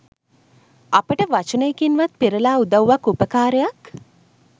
අපට වචනයකින්වත් පෙරලා උදව්වක් උපකාරයක්